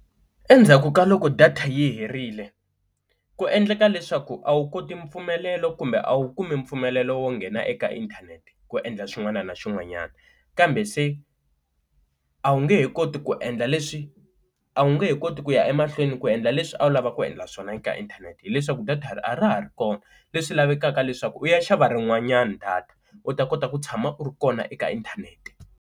Endzhaku ka loko data yi herile ku endleka leswaku a wu koti mpfumelelo kumbe a wu kumi mpfumelelo wo nghena eka inthanete ku endla xin'wana na xin'wanyana, kambe se a wu nge he koti ku endla leswi a wu nge he koti ku ya emahlweni ku endla leswi a wu lava ku endla swona eka inthanete, hileswaku data a ra ha ri kona leswi lavekaka leswaku u ya xava rin'wanyana data u ta kota ku tshama u ri kona eka inthanete.